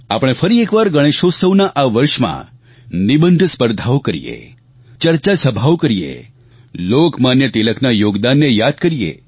આપણે ફરી એકવાર ગણેશોત્સવના આ વર્ષમાં નિબંધ સ્પર્ધાઓ કરીએ ચર્ચા સભાઓ કરીએ લોકમાન્ય તિલકના યોગદાનને યાદ કરીએ